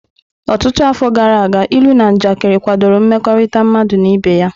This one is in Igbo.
Ọtụtụ afọ gara aga, ilu na njakịrị kwadoro mmekọrịta mmadụ na ibe ya.